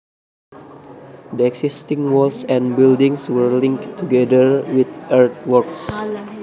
The existing walls and buildings were linked together with earthworks